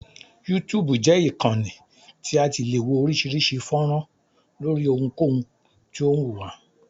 YouTube jẹ́ ìkànnì tí a ti le wo oríṣiríṣi fọ́nrán lóri ohunkohun tí o wù wá.